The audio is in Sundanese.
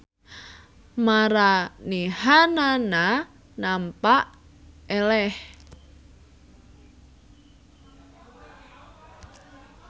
Maranehanana nampa eleh.